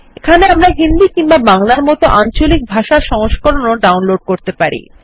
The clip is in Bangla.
একাহ্নে আমরা হিন্দী কিংবা বাংলার মত আঞ্চলিক ভাষার সংস্করণ ও ডাউনলোড করতে পারি